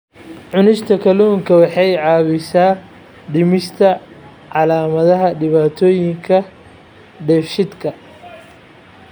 Cunista kalluunka waxa ay caawisaa dhimista calaamadaha dhibaatooyinka dheefshiidka.